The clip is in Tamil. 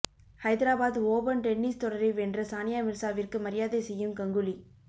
ஹைதராபாத் ஓபன் டென்னிஸ் தொடரை வென்ற சானிய மிர்சாவிற்கு மாியாதை செய்யும் கங்குலி